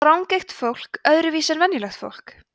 sjá rangeygt fólk öðruvísi en venjulegt fólk